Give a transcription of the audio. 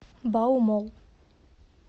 баумолл